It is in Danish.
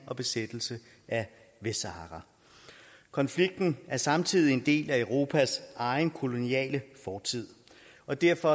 og besættelse af vestsahara konflikten er samtidig en del af europas egen koloniale fortid og derfor